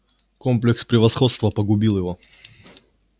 комплекс превосходства погубил его